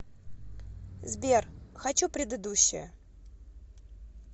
сбер хочу предыдущее